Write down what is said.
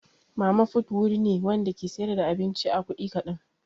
Mama fut wuri ne Wanda ke siyar da abinci a kudi kadan.